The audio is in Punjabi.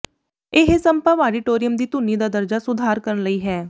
ਇਹ ਸੰਭਵ ਆਡੀਟੋਰੀਅਮ ਦੀ ਧੁਨੀ ਦਾ ਦਰਜਾ ਸੁਧਾਰ ਕਰਨ ਲਈ ਹੈ